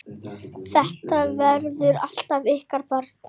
Þetta verður alltaf ykkar barn.